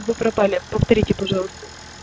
вы пропали повторите пожалуйста